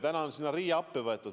Nüüd on sinna RIA appi võetud.